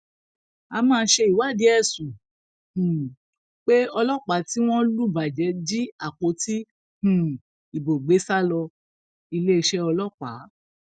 a máa ṣèwádìí ẹsùn um pé ọlọpàá tí wọn lù bàjẹ jí àpótí um ìbò gbé sá lọ iléeṣẹ ọlọpàá